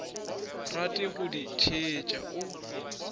rate go di theetša o